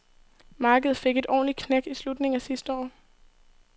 Markedet fik et ordentligt knæk i slutningen af sidste år.